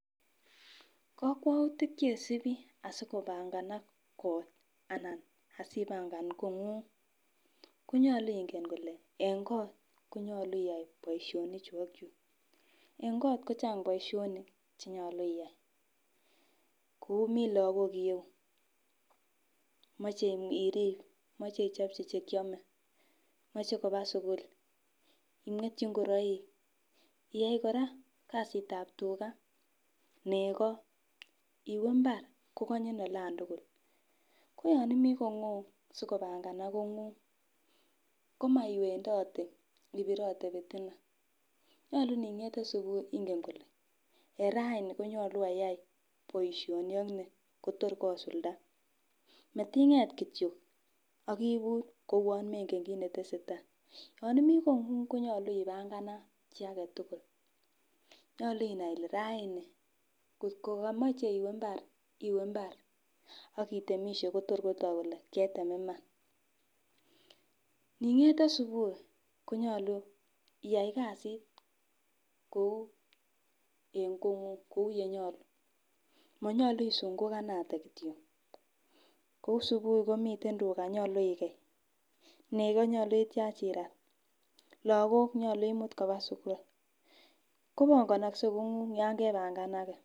Kokwoutit chesibii asikopanganak kot anan asipangan konguny konyolu ingen, nyolu ingen Ile ne kot konyoluu ilyai boishoni chuu ak chuu. En kot kochang boishonik cheyolu iyaikoi Mii lokok irou moche irib, moche ichopchi chekiome, moche koba sukul imwetyi ingoroik, iyai koraa kasitab tugaa neko, iwee imbar ko konyin olan tukul. Ko yon imii kongung sikopnganganak kongung komo iwendote ibirote pitina. Nyolu ningete subuhi ingen kole en raani konyolu ayai boishoni ak nii Kotor kosuldae, matinget kityok ak ibur ko uwon mengennkit netesetai. Yon imii kongung konyoluu ipanganat chii agetukul, nyolu inai kole raini kotko komoche iwee imbar iwee imbar ak itemishe Kotor kotok kole ketem Iman. Ningete subuhi konyolu iyai kasit kou en kongung kou yenyolu, monyolu isungukanatet kityok kou subuhi komiten tuga nyolu ikei, neko nyolu ityach irat, lokok nyolu imut koba sukul kopongonokse kongung yon kepangenage.